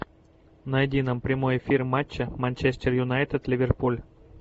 найди нам прямой эфир матча манчестер юнайтед ливерпуль